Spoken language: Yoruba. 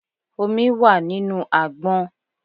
Omi wà nínú àgbọn.